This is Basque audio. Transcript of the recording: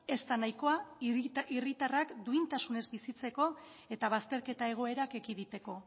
ez da nahikoa hiritarrak duintasunez bizitzeko eta bazterketa egoerak ekiditeko